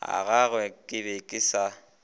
agagwe ke be ke sa